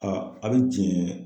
Aa a bɛ jɛn